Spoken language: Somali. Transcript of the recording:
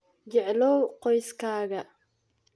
Jeclow qoyskaaga.